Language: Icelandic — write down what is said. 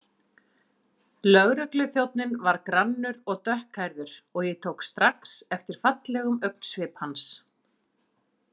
Lögregluþjónninn var grannur og dökkhærður og ég tók strax eftir fallegum augnsvip hans.